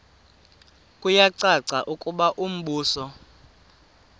kuyacaca ukuba umbuso